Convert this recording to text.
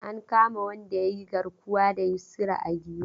An kama wanda ya yi garkuwa da Yusra a Giwa.